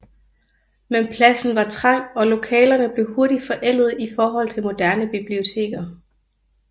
Men pladsen var trang og lokalerne blev hurtigt forældede i forhold til moderne biblioteker